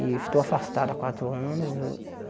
Estou afastado há quatro anos.